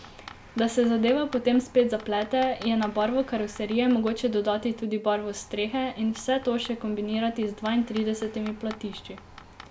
Da se zadeva potem spet zaplete, je na barvo karoserije mogoče dodati tudi barvo strehe in vse to še kombinirati z dvaintridesetimi platišči.